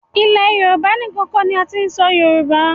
Ilẹ̀ Yorùbá níkan kọ́ ni a ti ń sọ Yorùbá.